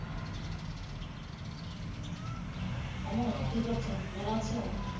অমু কি করস? ভালো আসো?